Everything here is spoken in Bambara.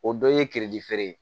O dɔ ye feere ye